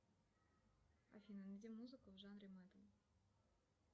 афина найди музыку в жанре металл